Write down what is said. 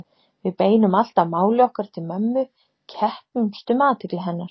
Við beinum alltaf máli okkar til mömmu, keppumst um athygli hennar